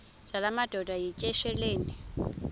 zala madoda yityesheleni